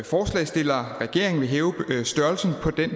forslagsstillerne regeringen vil hæve størrelsen på den